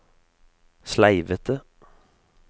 sleivete